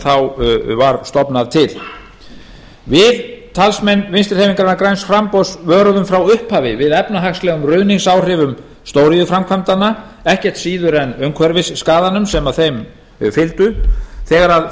þá var stofnað til við talsmenn vinstri hreyfingarinnar græns framboðs vöruðum frá upphafi við efnahagslegum ruðningsáhrifum stóriðjuframkvæmdanna ekkert síður en umhverfisskaðanum sem þeim fylgdu þegar